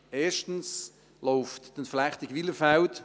Erstens läuft die Entflechtung Wylerfeld;